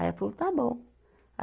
Aí ela falou, está bom.